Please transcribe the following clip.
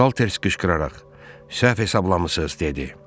Salters qışqıraraq, səhv hesablamısınız, dedi.